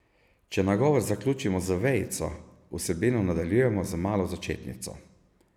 Če nagovor zaključimo z vejico, vsebino nadaljujemo z malo začetnico.